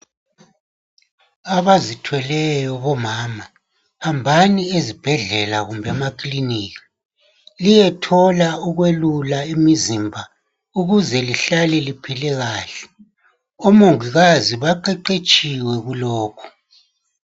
Abazithweleyo bomama hambani ezibhedlela kumbe emakilinika liyethola ukwelula imizimba ukuze lihlale liphile kahle. Omongikazi baqeqetshile kulokhu.